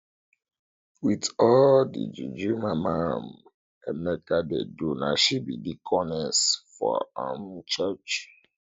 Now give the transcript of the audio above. with all the juju mama um emeka dey do na she be deaconess for um church